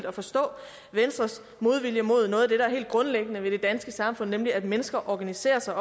at forstå venstres modvilje mod noget af det der er helt grundlæggende i det danske samfund nemlig at mennesker organiserer sig